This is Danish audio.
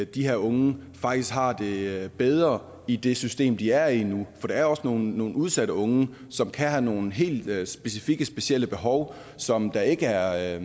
de her unge faktisk har det bedre i det system de er i nu for der er også nogle udsatte unge som kan have nogle helt specifikke specielle behov som der ikke er